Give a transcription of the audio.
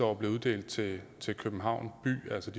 år blev uddelt til til københavn by altså